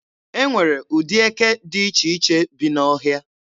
E nwere ụdị eke dị iche iche bi n'ọhịa.